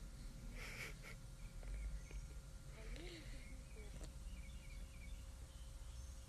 валерий позняков